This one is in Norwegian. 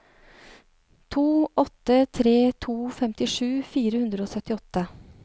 to åtte tre to femtisju fire hundre og syttiåtte